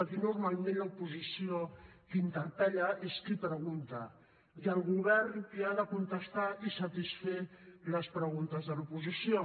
aquí normalment l’oposició que interpel·la és qui pregunta i el govern qui ha de contestar i satisfer les preguntes de l’oposició